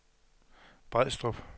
Brædstrup